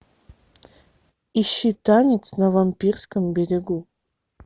ищи танец на вампирском берегу